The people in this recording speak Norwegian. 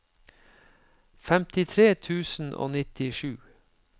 femtitre tusen og nittisju